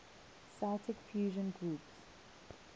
celtic fusion groups